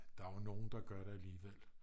der er jo nogen der gør det alligevel